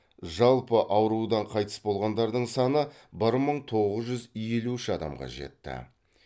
жалпы аурудан қайтыс болғандардың саны бір мың тоғыз жүз елу үш адамға жетті